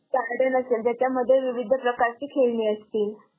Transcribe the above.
Garden असेल त्याच्यामध्ये विविध प्रकारचे खेळणी असतील.